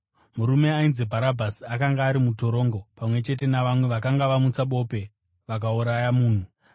Murume ainzi Bharabhasi akanga ari mutorongo pamwe chete navamwe vakanga vamutsa bope vakauraya munhu.